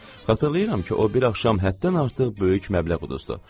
Xatırlayıram ki, o bir axşam həddən artıq böyük məbləğ uduzdu.